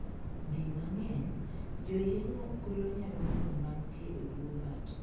Di mang'eny, joyeng'o golo nyarung'rung' mantie e bwo bat.